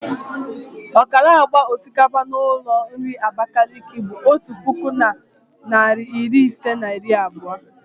ọkara agba osikapa n'ụlọ nri Abakaliki bụ otu puku na narị ise na iri abụọ.